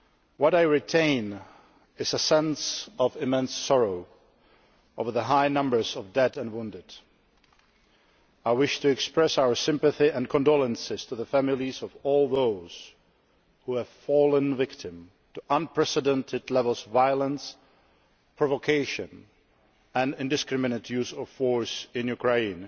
What I retain is a sense of immense sorrow over the high numbers of dead and wounded. I wish to express our sympathy and condolences to the families of all those who have fallen victim to what have been unprecedented levels of violence, provocation and indiscriminate use of force in Ukraine